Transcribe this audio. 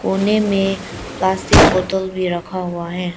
कोने में प्लास्टिक बोतल भी रखा हुआ है।